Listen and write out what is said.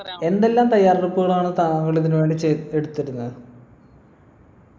എന്തെല്ലാം തയ്യാറെടുപ്പുകളാണ് താങ്കൾ ഇതിനുവേണ്ടി ചെയ് എടുത്തിരുന്നെ